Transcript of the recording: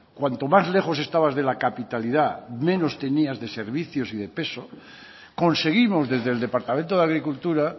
cuanto más lejos estabas de la capitalidad menos tenías de servicios y de peso conseguimos desde el departamento de agricultura